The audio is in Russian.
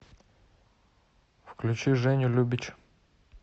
включи женю любич